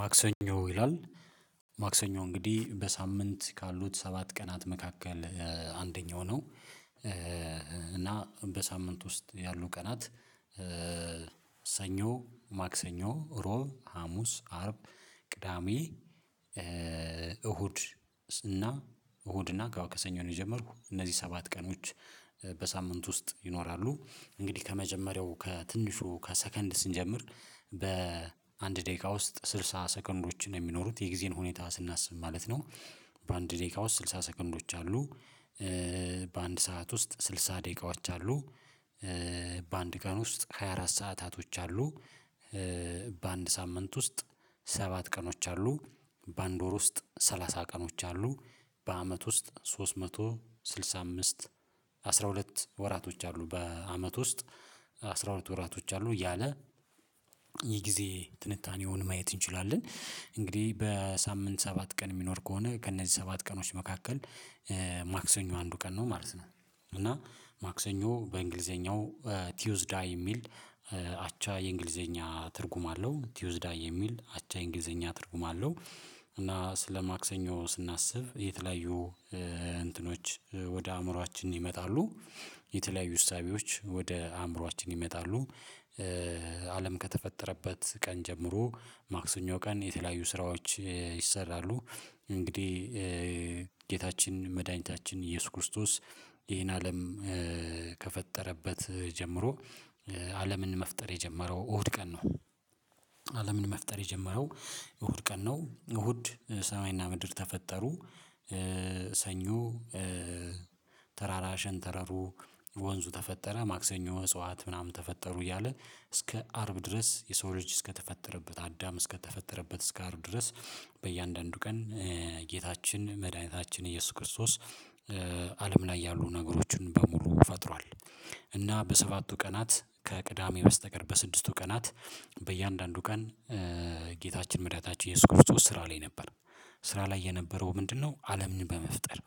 ማክሰኞ ይላል ማክሰኞ እንግዲህ በሳምንት ካሉት ሰባት ቀናት መካከል አንደኛው ነው። እና በሳምንት ውስጥ ያሉ ቀናት። ሰኞ ማክሰኞ ሮብ ሀሙስ አርብ ቅዳሜ እሁድ። እና እሁድ እና ከዋክሰኞ ነው የጀመርኩት እነዚህ ሰባት ቀኖች በሳምንት ውስጥ ይኖራሉ። እንግዲህ ከመጀመሪያው ከትንሹ ከሰከንድ ስንጀምር በአንድ ደቂቃ ውስጥ ስልሳ ሰከንዶችን የሚኖሩት የጊዜን ሁኔታ ስናስብ ማለት ነው። በአንድ ደቂቃ ውስጥ ስልሳ ሰከንዶች አሉ። በአንድ ሰዓት ውስጥ ስልሳ ደቂቃዎች አሉ። በአንድ ቀን ውስጥ ሃያ ሰዓታቶች አሉ። በአንድ ሳምንት ውስጥ ሰባት ቀኖች አሉ። በአንድ ወር ውስጥ ሰላሳ ቀኖች አሉ። በአመት ውስጥ ሶስት መቶ ስድሳ አምስት አስራ ሁለት ወራቶች አሉ በአመት ውስጥ አስራ ሁለት ወራቶች አሉ እያለ። የጊዜ ትንታኔውን ማየት እንችላለን እንግዲህ በሳምንት ሰባት ቀን የሚኖር ከሆነ ከእነዚህ ሰባት ቀኖች መካከል ማክሰኞ አንዱ ቀን ነው ማለት ነው። እና ማክሰኞ በእንግሊዘኛው ቲዩዝዳ የሚል አቻ የእንግሊዘኛ ትርጉም አለው ቲዩዝዳ የሚል አቻ የእንግሊዘኛ ትርጉም አለው። እና ስለ ማክሰኞ ስናስብ የተለያዩ እንትኖች ወደ አእምሮአችን ይመጣሉ የተለያዩ እሳቤዎች ወደ አእምሮአችን ይመጣሉ። አለም ከተፈጠረበት ቀን ጀምሮ ማክሰኞ ቀን የተለያዩ ስራዎች ይሰራሉ። እንግዲህ ጌታችን መድኃኒታችን ኢየሱስ ክርስቶስ ይሄን አለም ከፈጠረበት ጀምሮ አለምን መፍጠር የጀመረው እሁድ ቀን ነው። አለምን መፍጠር የጀመረው እሁድ ቀን ነው እሁድ ሰማይና ምድር ተፈጠሩ። ሰኞ ተራራሸን ተረሩ ወንዙ ተፈጠረ ማክሰኞ እጽዋት ምናምን ተፈጠሩ እያለ እስከ አርብ ድረስ የሰው ልጅ እስከተፈጠረበት አዳም እስከተፈጠረበት እስከ አርብ ድረስ በእያንዳንዱ ቀን ጌታችን መድኃኒታችን ኢየሱስ ክርስቶስ አለም ላይ ያሉ ነገሮችን በሙሉ ፈጥሯል። እና በሰባቱ ቀናት ከቅዳሜ በስተቀር በስድስቱ ቀናት በእያንዳንዱ ቀን ጌታችን መዳኒታችን እየሱስ ክርስቶስ ስራ ላይ ነበር። ስራ ላይ የነበረው ምንድነው? አለምን በመፍጠር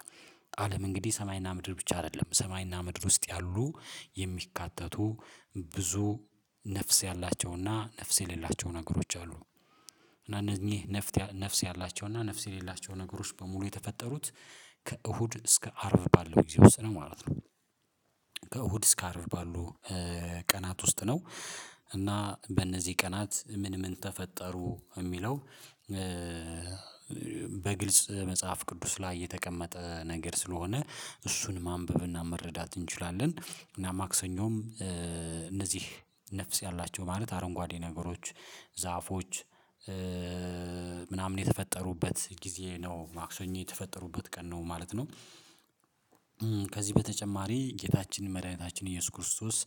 አለም እንግዲህ ሰማይና ምድር ብቻ አይደለም ሰማይና ምድር ውስጥ ያሉ የሚካተቱ ብዙ ነፍስ ያላቸውና ነፍስ የሌላቸው ነገሮች አሉ። እና እነኚህ ነፍስ ያላቸው እና ነፍስ የሌላቸው ነገሮች በሙሉ የተፈጠሩት ከእሁድ እስከ አርብ ባለው ጊዜ ወስነው ማለት ነው። ከእሁድ እስከ አርብ ባሉ ቀናት ውስጥ ነው። እና በእነዚህ ቀናት ምን ምን ተፈጠሩ የሚለው? በግልጽ መጽሐፍ ቅዱስ ላይ የተቀመጠ ነገር ስለሆነ እሱን ማንበብና መረዳት እንችላለን እና ማክሰኞም እነዚህ ነፍስ ያላቸው ማለት አረንጓዴ ነገሮች ዛፎች ምናምን የተፈጠሩበት ጊዜ ነው ማክሰኞ የተፈጠሩበት ቀን ነው ማለት ነው። ከዚህ በተጨማሪ ጌታችን መድኃኒታችን ኢየሱስ ክርስቶስ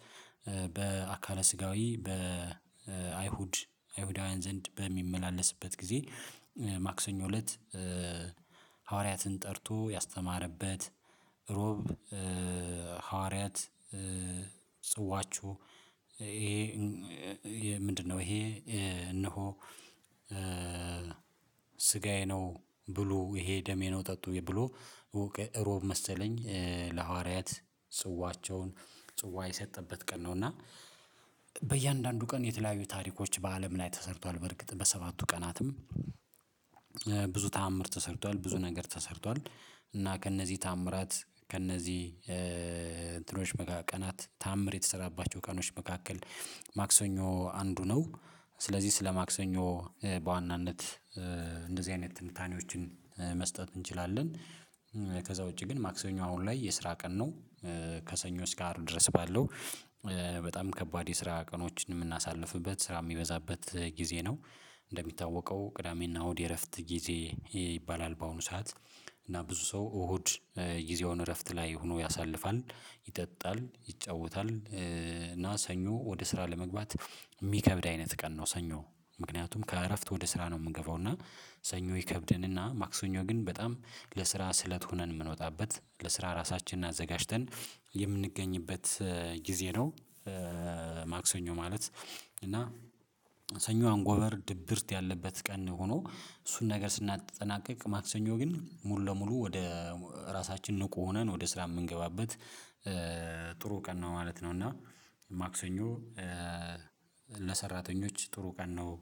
በአካለ ስጋዊ በአይሁድ አይሁዳውያን ዘንድ በሚመላለስበት ጊዜ ማክሰኞ እለት። ሐዋርያትን ጠርቶ ያስተማረበት ሮብ ሐዋርያት ጽዋችሁ ይሄ ምንድነው? ይሄ እነሆ ስጋዬ ነው። ብሎ ይሄ ደሜ ነው። ጠጡኝ ብሎ እሮብ መሰለኝ ለሐዋርያት ጽዋቸውን ጽዋ የሰጠበት ቀን ነው። እና ቀን የተለያዩ ታሪኮች በአለም ላይ ተሰርቷል በርግጥ በሰባቱ ቀናትም ብዙ ተአምር ተሰርቷል ብዙ ነገር ተሰርቷል። እና ከእነዚህ ተአምራት ከእነዚህ እንትኖች ቀናት ተአምር የተሰራባቸው ቀኖች መካከል ማክሰኞ አንዱ ነው። ስለዚህ ስለ ማክሰኞ በዋናነት እንደዚህ አይነት ትንታኔዎችን መስጠት እንችላለን። ከዛ ውጪ ግን ማክሰኞ አሁን ላይ የስራ ቀን ነው። ከሰኞ ስካር ድረስ ባለው በጣም ከባድ የስራ ቀኖችን የምናሳልፍበት ስራ የሚበዛበት ጊዜ ነው። እንደሚታወቀው ቅዳሜና እሁድ እረፍት ጊዜ ይባላል። በአሁኑ ሰዓት እና ብዙ ሰው እሁድ ጊዜውን እረፍት ላይ ሆኖ ያሳልፋል ይጠጣል ይጫወታል። እና ሰኞ ወደ ስራ ለመግባት የሚከብድ አይነት ቀን ነው። ሰኞ ምክንያቱም ከእረፍት ወደ ስራ ነው የምገባው እና ሰኞ ይከብደንና ማክሰኞ ግን በጣም ለስራ ስለት ሆነን የምንወጣበት ለስራ ራሳችንን አዘጋጅተን የምንገኝበት ጊዜ ነው። ማክሰኞ ማለት እና ሰኞ አንጎበር ድብርት ያለበት ቀን ሆኖ እሱን ነገር ስናጠናቅቅ ማክሰኞ ግን ሙሉ ለሙሉ ወደ ራሳችን ንቁ ሆነን ወደ ስራ የምንገባበት። ጥሩ ቀን ነው ማለት ነው። እና ማክሰኞ ለሰራተኞች ጥሩ ቀን ነው